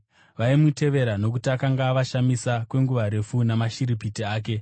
Vaimutevera nokuti akanga avashamisa kwenguva refu namashiripiti ake.